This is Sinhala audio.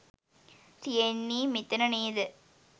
තියෙන්නේ මෙතන නේද?